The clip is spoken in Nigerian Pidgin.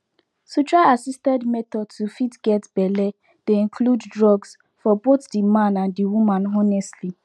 to try assisted method to fit get belle dey include drugs for both the man and the woman honestly